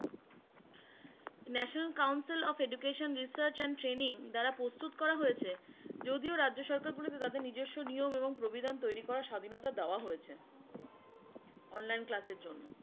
National Council of Education Research and Training দ্বারা প্রস্তুত করা হয়েছে। যদিও রাজ্য সরকারগুলোতে তাদের নিজস্ব নিয়ম এবং প্রবিধান তৈরি করা স্বাধীনতা দেওয়া হয়েছে। online class এর জন্য।